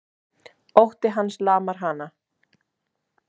Ótti hans lamar hana.